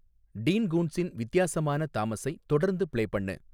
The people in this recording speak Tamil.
டீன் கூன்ட்ஸின் வித்தியாசமான தாமஸை தொடர்ந்து பிளே பண்ணு